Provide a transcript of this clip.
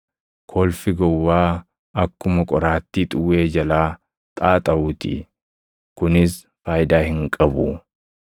Kolfi gowwaa akkuma qoraattii xuwwee jalaa xaaxaʼuu ti. Kunis faayidaa hin qabu.